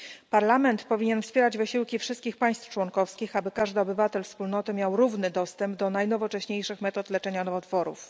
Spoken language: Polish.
Parlament powinien wspierać wysiłki wszystkich państw członkowskich, aby każdy obywatel Wspólnoty miał równy dostęp do najnowocześniejszych metod leczenia nowotworów.